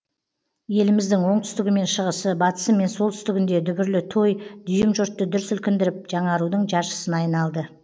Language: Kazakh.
еліміздің оңтүстігі мен шығысы батысы мен солтүстігінде дүбірлі той дүйім жұртты дүр сілкіндіріп жаңарудың жаршысына айналды